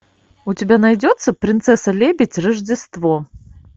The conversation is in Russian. у тебя найдется принцесса лебедь рождество